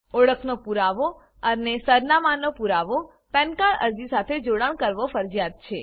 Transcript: ઓળખનો પુરાવો અને સરનામાંનો પુરાવો પેન કાર્ડ અરજી સાથે જોડાણ કરવો ફરજીયાત છે